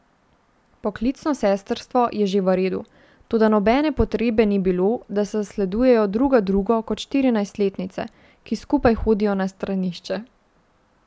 Poklicno sestrstvo je že v redu, toda nobene potrebe ni bilo, da zasledujejo druga drugo kot štirinajstletnice, ki skupaj hodijo na stranišče.